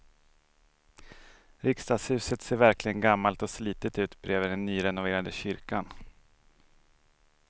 Riksdagshuset ser verkligen gammalt och slitet ut bredvid den nyrenoverade kyrkan.